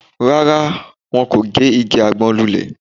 Rárá, wọn kò gé igi àgbọn lulẹ̀